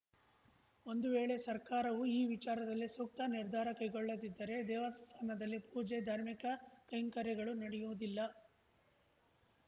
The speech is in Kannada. ಒಂದು ವೇಳೆ ಸರ್ಕಾರವು ಈ ವಿಚಾರದಲ್ಲಿ ಸೂಕ್ತ ನಿರ್ಧಾರ ಕೈಗೊಳ್ಳದಿದ್ದರೆ ದೇವಸ್ಥಾನದಲ್ಲಿ ಪೂಜೆ ಧಾರ್ಮಿಕ ಕೈಂಕರ್ಯಗಳು ನಡೆಯುವುದಿಲ್ಲ